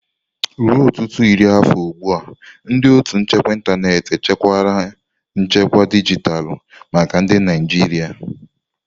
Ruo ọtụtụ iri afọ ugbu a, ndị ótù nchekwa ịntanetị echekwala nchekwa dijitalụ maka ndị Naijiria.